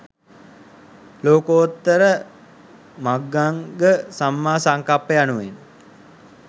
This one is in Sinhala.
ලෝකෝත්තර මග්ගංග සම්මා සංකප්ප යනුවෙන්